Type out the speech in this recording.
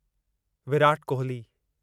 Virat Kohli